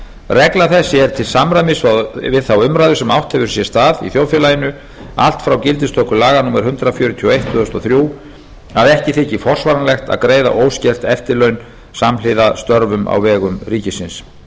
regla þessi er til samræmis við þá umræðu sem átt hefur sér stað í þjóðfélaginu allt frá gildistöku laga númer hundrað fjörutíu og eitt tvö þúsund og þrjú að ekki þyki forsvaranlegt að greiða óskert eftirlaun samhliða störfum á vegum ríkisins